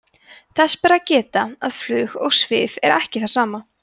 þess ber að geta að flug og svif er ekki það sama